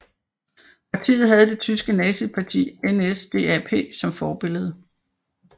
Partiet havde det tyske nazistparti NSDAP som forbillede